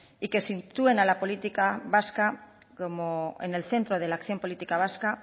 y que sitúen a la política vasca en el centro de la acción política vasca